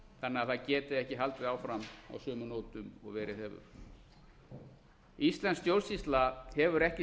þannig að það geti ekki haldið áfram á sömu nótum og verið hefur íslensk stjórnsýsla hefur ekki